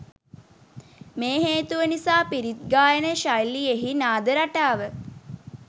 මේ හේතුව නිසා පිරිත් ගායන ශෛලියෙහි නාද රටාව